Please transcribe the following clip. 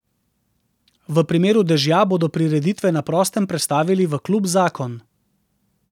V primeru dežja bodo prireditve na prostem prestavili v klub Zakon.